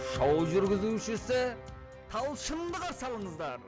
шоу жүргізушісі талшынды қарсы алыңыздар